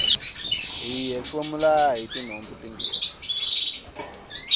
hi hefemula hitinhompfu timbirhi